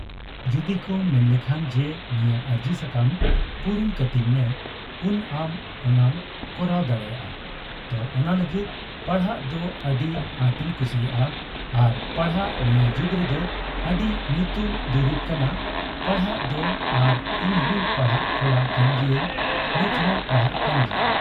ᱡᱩᱫᱤᱠᱚ ᱢᱮᱱᱞᱮᱠᱷᱟᱱ ᱡᱮ ᱱᱤᱭᱟᱹ ᱟᱨᱡᱤ ᱥᱟᱠᱟᱢ ᱯᱩᱨᱩᱱ ᱠᱟᱹᱛᱤᱧ ᱢᱮ ᱩᱱ ᱟᱢ ᱚᱱᱟᱢ ᱠᱚᱨᱟᱣ ᱫᱟᱲᱮᱭᱟᱜᱼᱟ ᱛᱚ ᱚᱱᱟᱞᱟᱹᱜᱤᱫ ᱯᱟᱲᱦᱟᱜ ᱫᱚ ᱟᱹᱰᱤ ᱟᱸᱴᱤᱧ ᱠᱩᱥᱤᱭᱟᱜᱼᱟ ᱟᱨ ᱯᱟᱲᱦᱟᱜ ᱱᱤᱭᱟᱹ ᱡᱩᱜᱽ ᱨᱮᱫᱚ ᱟᱹᱰᱤ ᱧᱩᱛᱩᱢ ᱫᱩᱨᱤᱵ ᱠᱟᱱᱟ ᱯᱟᱲᱦᱟᱜ ᱫᱚ ᱟᱨ ᱤᱧᱦᱚᱸᱧ ᱯᱟᱲᱦᱟᱜ ᱠᱚᱲᱟ ᱠᱟᱱ ᱜᱤᱭᱟᱹᱧ ᱱᱤᱛᱦᱚ ᱯᱟᱲᱦᱟᱜ ᱟᱠᱟᱱ ᱜᱤᱭᱟᱹᱧ ᱾